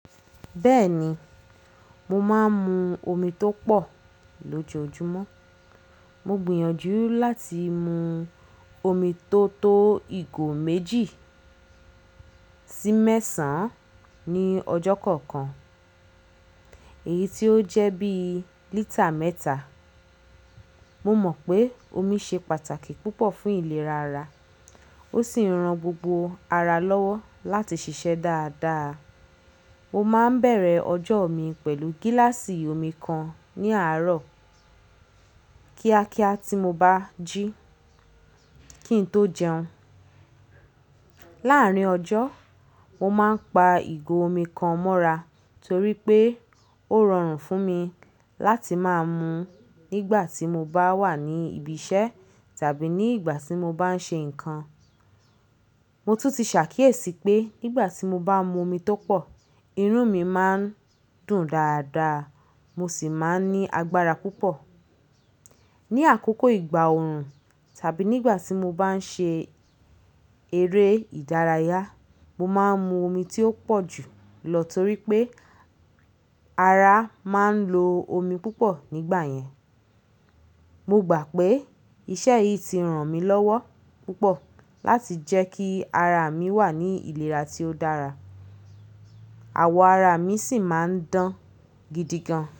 Bẹ́ẹ̀ni, mo máa ń mu omi tó pọ̀ lójoojúmọ́. Mo gbìyànjú láti mu omi tó tó ìgò méjì sí mẹ́sàn-án ní ọjọ́ kọ̀ọ̀kan, èyí tí ó jẹ́ bí lítà mẹ́ta. Mo mọ̀ pé omi ṣe pàtàkì púpọ̀ fún ìlera ara, ó sì ran gbogbo ara lọ́wọ́ láti ṣiṣẹ́ dáadáa. Mo máa ń bẹ̀rẹ̀ ọjọ́ mi pẹ̀lú gíláàsì omi kan ní àárọ̀ kíákíá tí mo bá jí, kí n tó jẹun. Láàárín ọjọ́, mo máa ń pa ìgò omi kan mọ́ra torí pé ó rọrùn fún mi láti máa mu nígbà tí mo bá wà ní ibi iṣẹ́ tàbí nígbà tí mo bá ń ṣe nǹkan. Mo tún ti ṣàkíyèsí pé nígbà tí mo bá mu omi tó pọ̀, irun mi máa ń dùn dáadáa, mo sì máa ń ní agbára púpọ̀. Ni àkókò ìgbà òòrùn tàbí nígbà tí mo bá ń ṣe eré ìdárayá, mo máa ń mu omi tí ó pọ̀ jù lọ torí pé ara máa ń lo omi púpọ̀ nígbà yẹn. Mo gbà pé iṣẹ́ yìí ti ràn mí lọ́wọ́ púpọ̀ láti jẹ́ kí ara mi wà ní ìlera tí ó dára, àwọ̀ ara mi sì máa ń dán gidi gan.